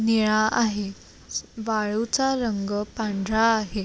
निळा आहे वाळूचा रंग पांढरा आहे.